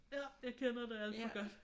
Ja jeg kender det alt for godt